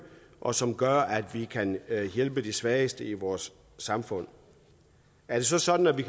og som gør at vi kan hjælpe de svageste i vores samfund er det så sådan at vi